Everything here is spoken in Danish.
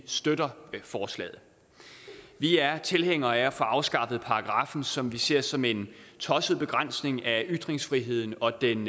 støtter forslaget vi er tilhængere af at få afskaffet paragraffen som vi ser som en tosset begrænsning af ytringsfriheden og den